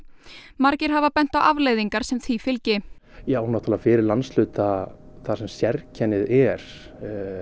margir hafa bent á afleiðingar sem því fylgi já náttúrulega fyrir landshluta þar sem sérkennið er